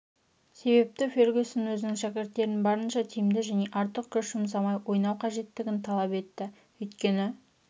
себепті фергюсон өзінің шәкірттерін барынша тиімді және артық күш жұмсамай ойнау қажеттігін талап етті өйткені